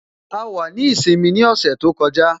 A wà ní ìsinmi ní ọ̀sẹ̀ tó kọjá